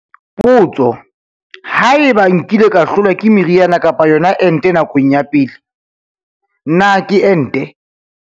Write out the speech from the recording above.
Potso- Haeba nkile ka hlolwa ke meriana kapa yona ente nakong ya pele, na ke ente?